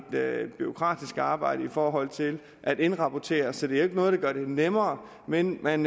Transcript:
bureaukratisk arbejde i forhold til at indrapportere så det er jo ikke noget der gør det nemmere men man